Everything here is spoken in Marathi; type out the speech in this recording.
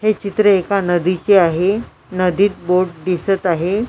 हे चित्र एका नदीचे आहे नदीत बोट दिसत आहे.